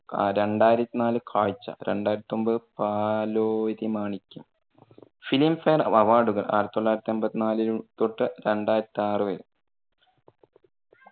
അഹ് രണ്ടായിരത്തി നാല് കാഴ്ച, രണ്ടായിരത്തി ഒമ്പതു പാലോരി മാണിക്യം. filmfare അവാർഡുകൾ ആയിരത്തി തൊള്ളായിരത്തി എൺപത്തിനാല് തൊട്ട്‌ രണ്ടായിരത്തി ആറു വരെ.